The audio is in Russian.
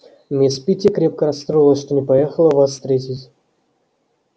мисс питти крепко расстроилась что не поехала вас встретить